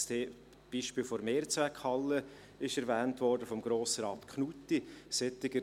Das Beispiel der Mehrzweckhalle wurde von Grossrat Knutti erwähnt.